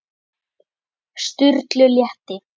Sturlu létti.